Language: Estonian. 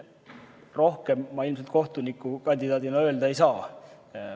Rohkem ma ilmselt kohtuniku kandidaadina öelda ei saa.